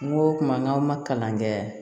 Kuma o kuma n'aw ma kalan kɛ